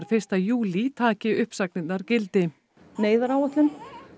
fyrsta júlí taki uppsagnirnar gildi neyðaráætlun